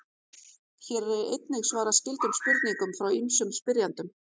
Hér er einnig svarað skyldum spurningum frá ýmsum spyrjendum.